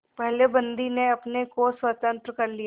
पहले बंदी ने अपने को स्वतंत्र कर लिया